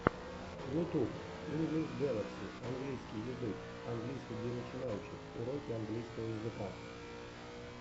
ютуб инглиш гэлакси английский язык английский для начинающих уроки английского языка